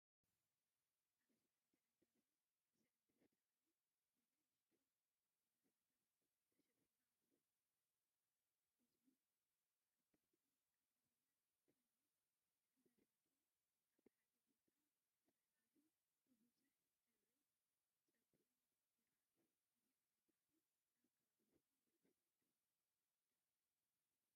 ኣብዚ ሓደ ዕምባባ ዝዓምብብ ተኽሊ ብንኣሽቱ ዕምባባታት ተሸፊኑ ኣሎ። ቆጽሉ ዓበይትን ቀጠልያን ኮይኑ፡ ዕምባባታቱ ኣብ ሓደ ቦታ ፋሕ ኢሉ ብብዙሕ ሕብሪ ጽቢቆም ይራኣዩ። እዚ ዓይነት ተኽሊ ኣብ ከባቢኩም ርኢኹም ትፈልጡ ዶ?